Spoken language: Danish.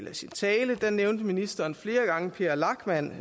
i sin tale nævnte ministeren flere gange per lachmann